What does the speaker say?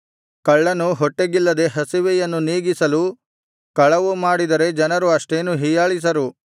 ಕಳ್ಳನು ಹೊಟ್ಟೆಗಿಲ್ಲದೆ ಹಸಿವೆಯನ್ನು ನೀಗಿಸಲು ಕಳವು ಮಾಡಿದರೆ ಜನರು ಅಷ್ಟೇನೂ ಹೀಯಾಳಿಸರು